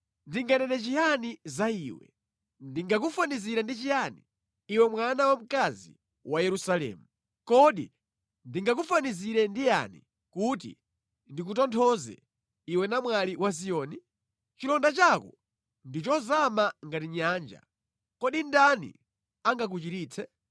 Ndinganene chiyani za iwe? Ndingakufanizire ndi chiyani, iwe mwana wamkazi wa Yerusalemu? Kodi ndingakufanizire ndi yani kuti ndikutonthoze, iwe namwali wa Ziyoni? Chilonda chako ndi chozama ngati nyanja, kodi ndani angakuchiritse?